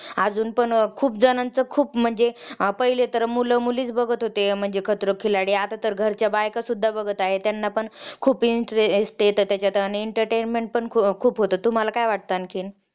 अजून पण खुप जणांचं खुप जणांनाच म्हणजे पहिले तर मुलं मुलीचं बघत होते म्हणजे खतरो के खिलाडी आता तर घरच्या बायका सुद्धा बघतायेत त्यांना पण खूप interest येतो त्याच्यात आणि entertainment पण खुप खुप होत तुम्हाला काय वाटत आणखीन